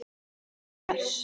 Þriðja vers.